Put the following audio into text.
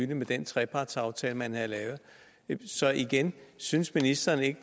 den trepartsaftale man havde lavet så igen synes ministeren ikke